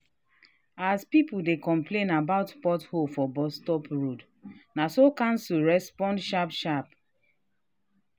as people dey complain about pothole for bus road na so council respond sharp sharp.